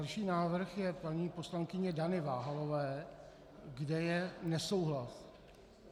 Další návrh je paní poslankyně Dany Váhalové, kde je nesouhlas.